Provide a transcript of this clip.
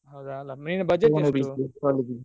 ಹೌದ main budget ಎಷ್ಟು?